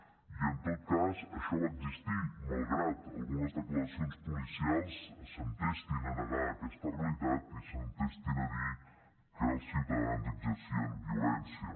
i en tot cas això va existir malgrat que algunes declaracions policials s’entestin a negar aquesta realitat i s’entestin a dir que els ciutadans exercien violència